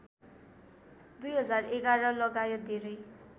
२०११ लगायत धेरै